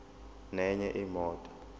nenye imoto